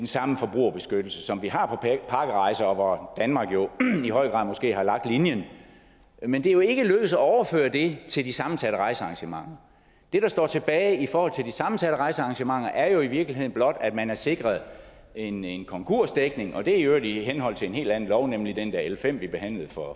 samme forbrugerbeskyttelse som vi har på pakkerejser hvor danmark jo i høj grad måske har lagt linjen men det er ikke lykkedes at overføre det til de sammensatte rejsearrangementer det der står tilbage i forhold til de sammensatte rejsearrangementer er jo i virkeligheden blot at man er sikret en en konkursdækning og det er i øvrigt i henhold til en helt anden lov nemlig den der l fem vi behandlede for